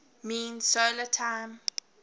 mean solar time